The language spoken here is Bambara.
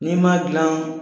N'i ma dilan